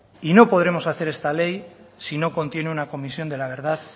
y no podremos hacer esta ley si no contiene una comisión de la verdad